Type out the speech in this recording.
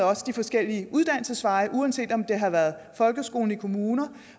også de forskellige uddannelsesveje uanset om det har været folkeskolen i kommunerne